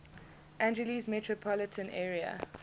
angeles metropolitan area